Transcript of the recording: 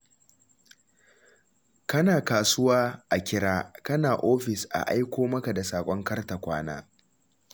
Kana kasuwa a kira, kana ofis a aiko maka da saƙon kar-ta-kwana.